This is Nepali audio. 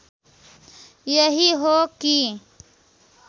यही हो कि